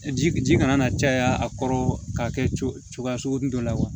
Ji ji kana na caya a kɔrɔ ka kɛ cogo cogoya sugunin dɔ la wa